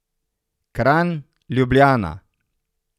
Kranj, Ljubljana.